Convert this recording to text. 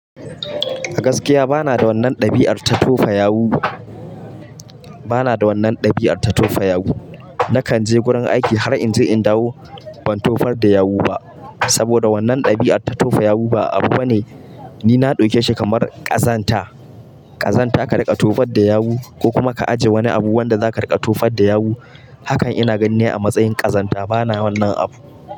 A gaskiya bana da wannan dabi'ar ta tofa yawu, bana da wannan dabi'ar ta tofa yawu. Nakan je gurin aiki har in je in dawo ban tofar da yawu ba saboda wannan dabi'ar ta tofa yawu ba abu bane. Ni na dauke shi kamar ƙazanta, ƙazanta ka riƙa tofar da yawu ko kuma ka ajiye wani abu wanda zaka riƙa tofar da yawu. Hakan ina ganin ne a matsayin ƙazanta bana wannan abu.